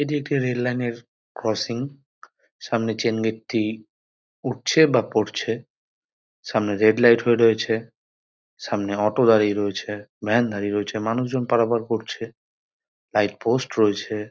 এটি একটি রেললাইন -এর ক্রসিং সামনে চেন গেট -টি উঠছে বা পড়ছে সামনে রেড লাইট হয়ে রয়েছে সামনে অটো দাঁড়িয়ে রয়েছে ভ্যান দাঁড়িয়ে রয়েছে মানুষজন পারাপার করছে লাইট পোস্ট রয়েছে।